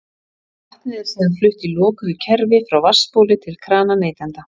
Vatnið er síðan flutt í lokuðu kerfi frá vatnsbóli til krana neytenda.